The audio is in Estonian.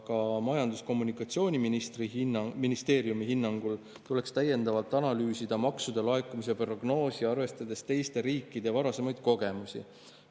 Aga Majandus- ja Kommunikatsiooniministeeriumi hinnangul tuleks täiendavalt analüüsida maksude laekumise prognoosi arvestades teiste riikide varasemaid kogemusi.